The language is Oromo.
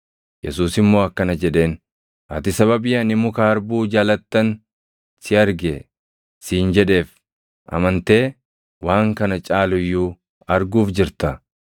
Yesuus immoo akkana jedheen; “Ati sababii ani muka harbuu jalattan si arge siin jedheef amantee? Waan kana caalu iyyuu arguuf jirta.”